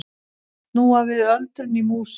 Snúa við öldrun í músum